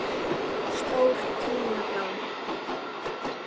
Stóra táin blá.